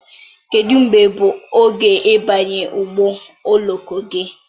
kedụ mgbe bụ oge ịbanye ụgbọ oloko gị?